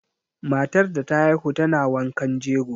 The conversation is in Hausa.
Matar da ta haihu tana wankan jego.